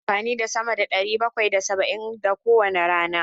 Ina amfani da sama da ɗari bakwai da saba'in a kowane rana.